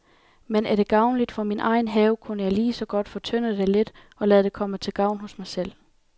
Men er det gavnligt for min egen have, kunne jeg lige så godt fortynde det lidt og lade det komme til gavn hos mig selv.